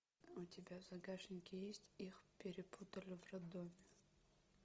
у тебя в загашнике есть их перепутали в роддоме